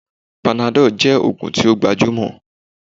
Panadol jẹ́ oògùn tí ó gbajúmọ̀